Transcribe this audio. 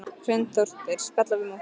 Hrund Þórsdóttir: Spjalla við múkkann?